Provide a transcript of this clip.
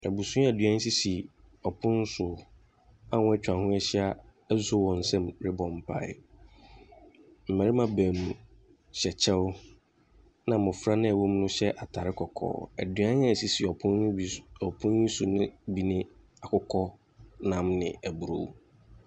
Abusua aduan nso si pon so a wɔatwa ho ahyia asɔ wɔn nsam rebɔ mpae. Mmarima baanu hyɛ kyɛw. Na mmofra no ɛwɔ mu no hyɛ ataare kɔkɔɔ. Aduane a esisi pon no bi so ɔpon so bi ne akokɔnam ne aburow.